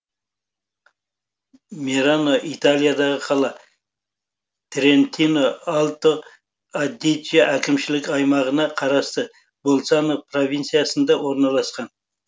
мерано италиядағы қала трентино альто адидже әкімшілік аймағына қарасты больцано провинциясында орналасқан